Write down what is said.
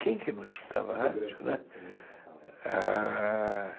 Quem que não escutava rádio, né?